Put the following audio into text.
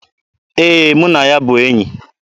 Ee, mụ na ya bụ enyi.